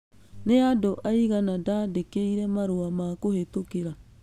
Nĩ andũ aigana ndandĩkĩire marũa ma kũhĩtũkĩra